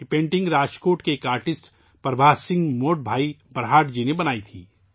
یہ پینٹنگ راجکوٹ کے ایک آرٹسٹ پربھات سنگھ موڈ بھائی برہاٹ جی نے بنائی تھی